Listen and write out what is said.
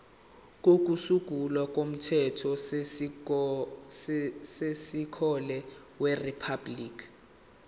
kokusungula komthethosisekelo weriphabhuliki